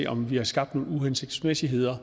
om vi har skabt nogle uhensigtsmæssigheder